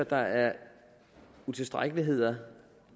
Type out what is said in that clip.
der er utilstrækkeligheder